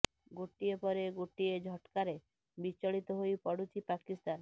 ଗୋଟିଏ ପରେ ଗୋଟିଏ ଝଟ୍କାରେ ବିଚଳିତ ହୋଇ ପଡୁଛି ପାକିସ୍ତାନ